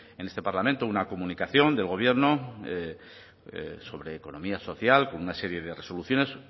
en este parlamento una comunicación del gobierno sobre economía social con una serie de resoluciones